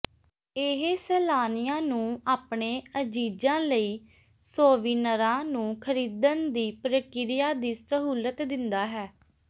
ਇਹ ਸੈਲਾਨੀਆਂ ਨੂੰ ਆਪਣੇ ਅਜ਼ੀਜ਼ਾਂ ਲਈ ਸੋਵੀਨਰਾਂ ਨੂੰ ਖਰੀਦਣ ਦੀ ਪ੍ਰਕਿਰਿਆ ਦੀ ਸਹੂਲਤ ਦਿੰਦਾ ਹੈ